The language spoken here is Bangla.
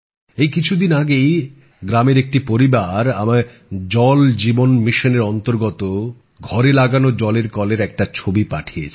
এই কিছু দিন আগেই গ্রামের একটা পরিবার আমায় জল জীবন মিশন এর অন্তর্গত ঘরে লাগানো জলের কলের একটা ছবি পাঠিয়েছে